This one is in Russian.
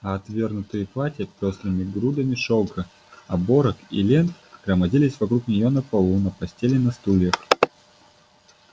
а отвергнутые платья пёстрыми грудами шелка оборок и лент громоздились вокруг нее на полу на постели на стульях